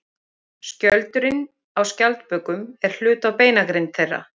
Skjöldurinn á skjaldbökum er hluti af beinagrind þeirra.